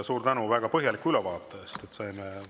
Suur tänu väga põhjaliku ülevaate eest!